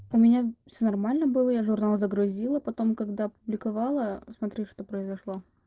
у меня все нормально было я журнал загрузила потом когда публиковала смотри что произошло